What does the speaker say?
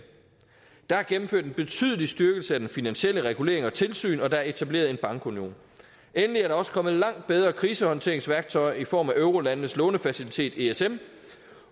der er gennemført en betydelig styrkelse af den finansielle regulering og tilsyn og der er blevet etableret en bankunion endelig er der også kommet langt bedre krisehåndteringsværktøjer i form af eurolandenes lånefacilitet esm